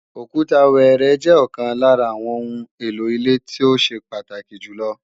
Òkúta wẹẹrẹ jẹ́ ọ̀kan lára àwọn oun èlò ilé tó ṣe pàtàkì jù lọ